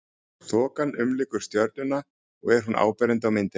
þokan umlykur stjörnuna og er hún áberandi á myndinni